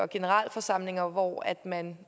generalforsamlinger hvor man